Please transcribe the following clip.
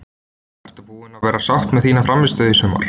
Ertu búin að vera sátt við þína frammistöðu í sumar?